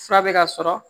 Fura bɛ ka sɔrɔ